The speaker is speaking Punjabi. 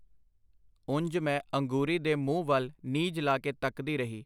ਉਂਜ ਮੈਂ ਅੰਗੂਰੀ ਦੇ ਮੂੰਹ ਵੱਲ ਨੀਝ ਲਾ ਕੇ ਤੱਕਦੀ ਰਹੀ.